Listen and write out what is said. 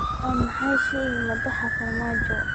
maxaa shay madaxa farmaajo